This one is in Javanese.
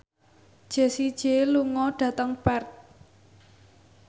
Jessie J lunga dhateng Perth